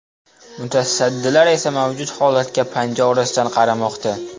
Mutasaddilar esa mavjud holatga panja orasidan qaramoqda.